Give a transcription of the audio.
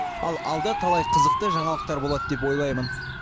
ал алда талай қызықты жаңалықтар болады деп ойлаймын